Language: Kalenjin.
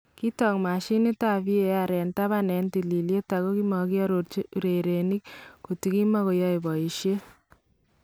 Kiitook mashinitab VAR en tabaan en tililiet ako makiarorchi urerenik kotikimakoyae boyisyet